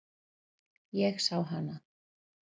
Ég sá hana.